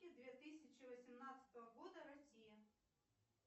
две тысячи восемнадцатого года россия